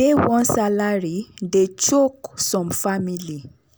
dey one salary dey choke some family.